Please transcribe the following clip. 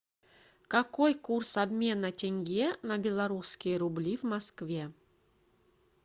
какой курс обмена тенге на белорусские рубли в москве